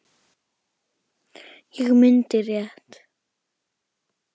Ég mundi rétt.